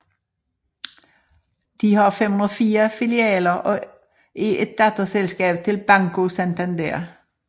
De har 504 filialer og er et datterselskab til Banco Santander